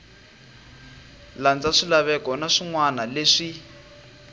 landza swilaveko na swinawana leswi